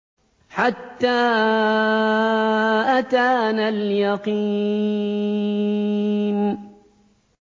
حَتَّىٰ أَتَانَا الْيَقِينُ